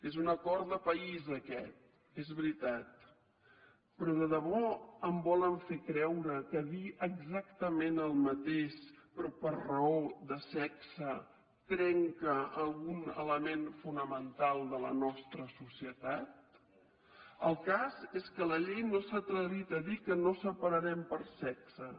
és un acord de país aquest és veritat però de debò em volen fer creure que dir exactament el mateix però per raó de sexe trenca algun element fonamental de la nostra societat el cas és que la llei no s’ha atrevit a dir que no separarem per sexes